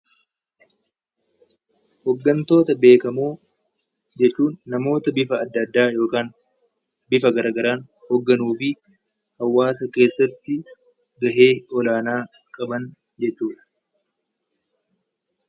Hoggantoota beekamoo jechuun namoota bifa addaa addaa yookaan bifa gara garaan hogganuu fi hawaasa keessatti gahee olaanaa qaban jechuu dha.